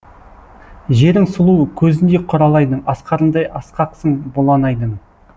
жерің сұлу көзіндей құралайдың асқарындай асқақсың бұланайдың